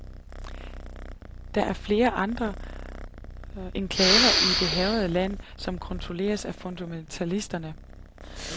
Der er flere andre enklaver i det hærgede land, som kontrolleres af fundamentalisterne.